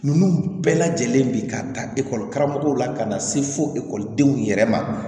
Ninnu bɛɛ lajɛlen bi ka ta ekɔli karamɔgɔw la ka na se fo ekɔlidenw yɛrɛ ma